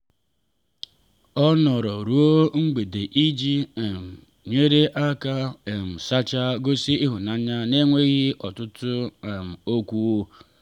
ọ nọrọ ruo mgbede iji um nyere aka um sachaa gosi ịhụnanya n’enweghị ọtụtụ um okwu.